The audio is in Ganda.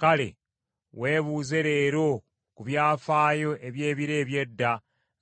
“Kale, weebuuze leero ku byafaayo eby’ebiro eby’edda,